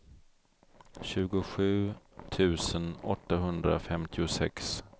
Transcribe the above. tjugosju tusen åttahundrafemtiosex